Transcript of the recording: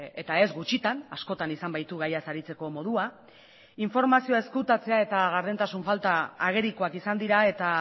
eta ez gutxitan askotan izan baitu gaiaz aritzeko modua informazioa ezkutatzea eta gardentasun falta agerikoak izan dira eta